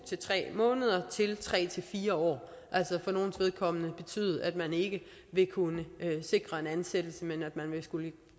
tre måneder til tre fire år det altså for nogles vedkommende betyde at man ikke vil kunne sikres en ansættelse men at man ville skulle